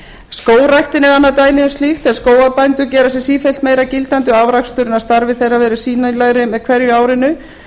skógræktin er annað dæmi um slíkt en skógarbændur gera sig sífellt meira gildandi og afraksturinn af starfi þeirra verður sýnilegri með hverju árinu